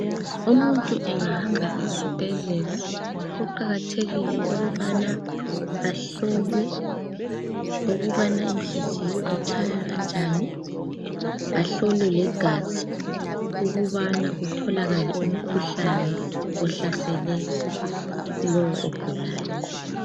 Umuntu engahamba esibhedlela kuqakathekile ukubana ahlolwe ukubana inhliziyo itshaya kanjani ahlolwe legazi ukubana kutholakale umkhuhlane ohlasele lowo ogulayo